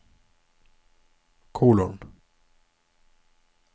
kolon